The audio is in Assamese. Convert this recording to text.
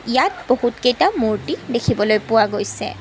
ইয়াত বহুত কেইটা মূৰ্ত্তি দেখিবলৈ পোৱা গৈছে।